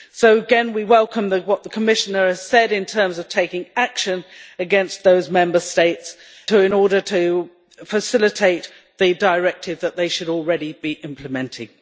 So again, we welcome what the Commissioner has said in terms of taking action against those Member States in order to facilitate the directive that they should already be implementing.